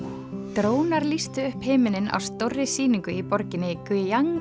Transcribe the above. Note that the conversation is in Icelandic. drónar lýstu upp himinninn á stórri sýningu í borginni